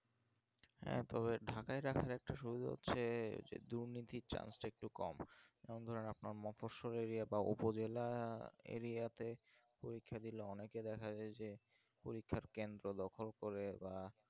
হ্যাঁ তবে ঢাকাই রাখার একটা সুবিধা হচ্ছে দুর্নীতি chance টা একটু কম হ্যাঁ আপনাকে মফস্বল area বা উপজেলা area তে অনেকে দেখা যাই যে পরীক্ষার কেন্দ্র দখল করে বা